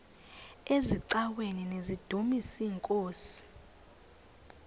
eziaweni nizidumis iinkosi